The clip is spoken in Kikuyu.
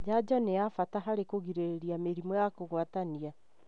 Janjo nĩ ya bata harĩ kũgirĩrĩa mĩrimũ ya kũgwatania.